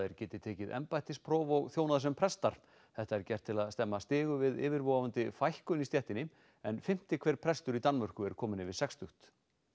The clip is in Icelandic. geti tekið embættispróf og þjónað sem prestar þetta er gert til að stemma stigu við yfirvofandi fækkun í stéttinni en fimmti hver prestur í Danmörku er kominn yfir sextugt